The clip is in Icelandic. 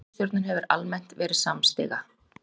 En ríkisstjórnin hefur almennt verið samstiga